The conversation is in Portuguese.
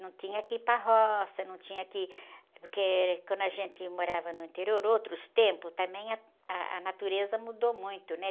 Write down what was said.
Não tinha que ir para roça, não tinha que... Porque quando a gente morava no interior, outros tempos, também ah, a natureza mudou muito, né?